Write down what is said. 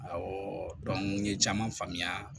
n ye caman faamuya